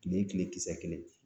Kile kile kisɛ kelen